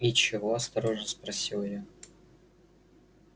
и чего осторожно спросила я